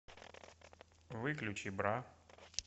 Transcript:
выключи бра